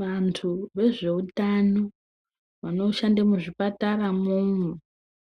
Vantu vezveutano vanoshande muzvipataramwomwo.